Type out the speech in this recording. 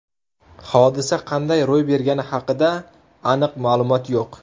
Hodisa qanday ro‘y bergani haqida aniq ma’lumot yo‘q.